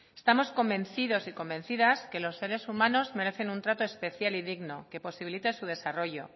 estamos convencidos y convencidas que los seres humanos merecen un trato especial y digno que posibilite su desarrollo